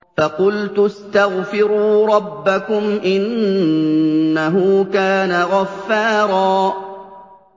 فَقُلْتُ اسْتَغْفِرُوا رَبَّكُمْ إِنَّهُ كَانَ غَفَّارًا